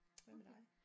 Hvad med dig?